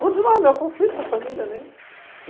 Continua o meu conflito com a família, né?